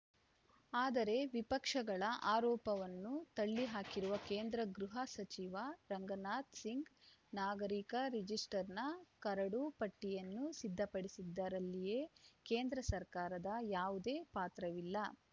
ಆದರೆ ವಿಪಕ್ಷಗಳ ಆರೋಪವನ್ನು ತಳ್ಳಿಹಾಕಿರುವ ಕೇಂದ್ರಗೃಹ ಸಚಿವ ರಾಜನಾಥ್‌ ಸಿಂಗ್‌ ನಾಗರಿಕ ರಿಜಿಸ್ಟರ್‌ನ ಕರಡು ಪಟ್ಟಿಯನ್ನು ಸಿದ್ಧಪಡಿಸಿದ್ದರಲ್ಲಿ ಕೇಂದ್ರ ಸರ್ಕಾರದ ಯಾವುದೇ ಪಾತ್ರವಿಲ್ಲ